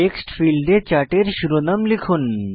text ফীল্ডে চার্টের শিরোনাম লিখুন